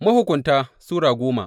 Mahukunta Sura goma